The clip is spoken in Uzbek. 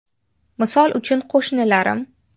Misol uchun, qo‘shnilarim.